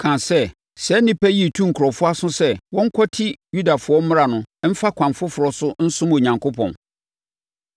kaa sɛ, “Saa onipa yi retu nkurɔfoɔ aso sɛ wɔnkwati Yudafoɔ mmara no mfa ɛkwan foforɔ so nsom Onyankopɔn.”